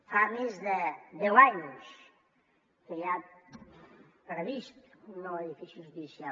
fa més de deu anys que hi ha previst un nou edifici judicial